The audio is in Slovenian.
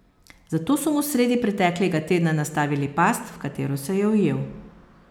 Zato so mu sredi preteklega tedna nastavili past, v katero se je ujel.